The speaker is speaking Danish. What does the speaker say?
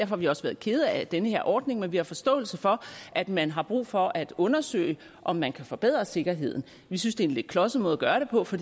har vi også været kede af den her ordning men vi har forståelse for at man har brug for at undersøge om man kan forbedre sikkerheden vi synes det er en lidt klodset måde at gøre det på for